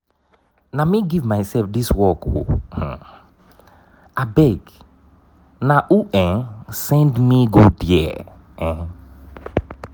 na me give myself dis work ooo um abeg na who um send me go there? um